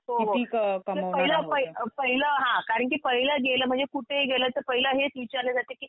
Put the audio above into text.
हो हो पहिलं पहिलं हां कारण की पहिलं गेलं कुठेही गेलं की पहिले हेच विचारले जाते की